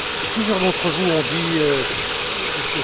Plusieurs d'entre vous ont dit M.